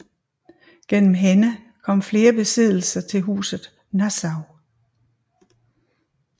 Gennem hende kom flere besiddelser til huset Nassau